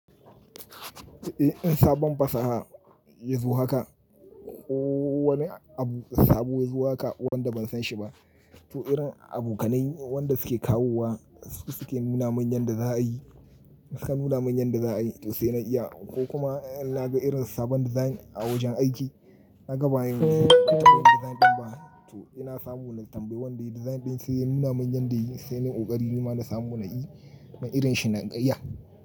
Eh, in sabon fasaha ya zo haka ko wani abu sabo ya zo haka wanda ban san shi ba. To irin abokanai wanda suke kawowa su suke nuna mun yan da za a yi, su ka nuna mun yan da za a yi to sai na iya ko kuma in na ga irin sabon design a wajen aiki, na ga baya wani design ɗin ba. To ina samu na tambayi wanda ya yi design ɗin sai ya nuna mun yan da ya yi sai nayu ƙoƙari nima na samu na yi. Man irin shi na ƙaiya.